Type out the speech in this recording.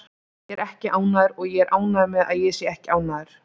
Ég er ekki ánægður og ég er ánægður með að ég sé ekki ánægður.